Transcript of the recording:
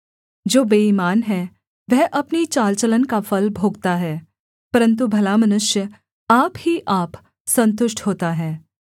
जो बेईमान है वह अपनी चाल चलन का फल भोगता है परन्तु भला मनुष्य आप ही आप सन्तुष्ट होता है